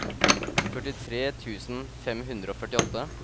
førtitre tusen fem hundre og førtiåtte